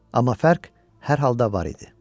Amma fərq hər halda var idi.